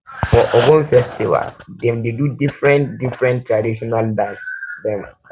for egungun festival dem dey do differen differen traditional dance dem